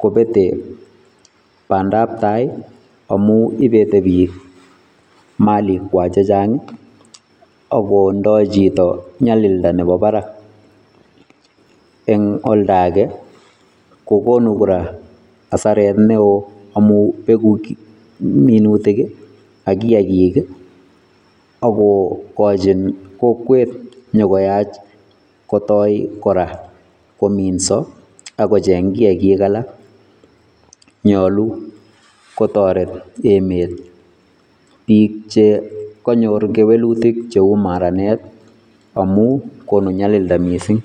kobete bandap tai amuu ii ibete biik maliikwak chechaang ago ndai chitoo nyalildaa nebo barak en oldagei kokonuu kora asareet ne wooh amuun wechei minutiik ii ak kiagiik ii ago kachiin kokweet inyokayaach kotai kora kominsaa ak ko cheeng kiagiik alaak nyaluu kotoret emet biik che kanyoor kewelutiik cheabuu maraanet amuun ibuu nyalildaa missing.